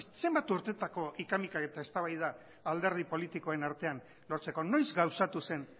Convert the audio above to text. zenbat urteetako hika mika eta eztabaidak alderdi politikoen artean lortzeko noiz gauzatu zen